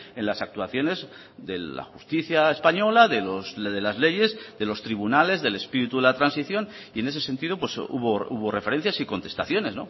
en las actuaciones de la justicia española de las leyes de los tribunales del espíritu de la transición y en ese sentido hubo referencias y contestaciones